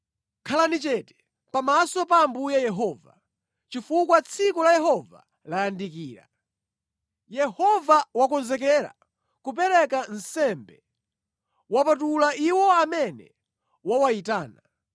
Khalani chete pamaso pa Ambuye Yehova, chifukwa tsiku la Yehova layandikira. Yehova wakonzekera kupereka nsembe; wapatula iwo amene wawayitana.